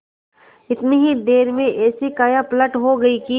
इतनी ही देर में ऐसी कायापलट हो गयी कि